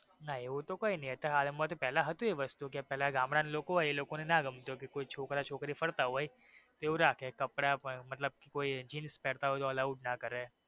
ના એવું તો કઈ નય અત્યારે તો હાલ માં પેલા હતું એ વસ્તુ કે પેલા એ લોકો ગામડાં ના લોકો હોઈ એ લોકો ને નો ગમતું કે કોઈ છોકરો છોકરી ફરતા હોઈ મતલબ એવું રાખે કે કોઈ કપડાં કે કોઈ jeans પેરતા હોઈ તો allowed નો કરે.